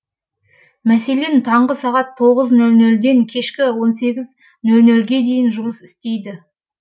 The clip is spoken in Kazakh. мәселен таңғы сағат ден кешкі ге дейін жұмыс істейді